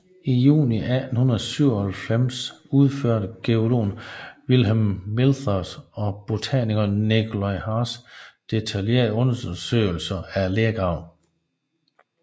I juni 1897 udførte geologen Vilhelm Milthers og botanikeren Nikolaj Hartz detaljerede undersøgelser af lergraven